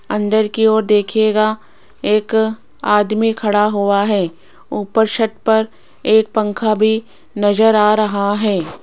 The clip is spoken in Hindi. अंदर की ओर देखिएगा एक आदमी खड़ा हुआ है ऊपर छत पर एक पंखा भी नजर आ रहा है।